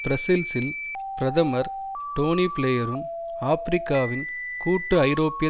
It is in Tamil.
பிரஸ்ஸல்சில் பிரதமர் டோனி பிளேயரும் ஆபிரிக்காவில் கூட்டு ஐரோப்பிய